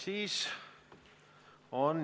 Ei ole.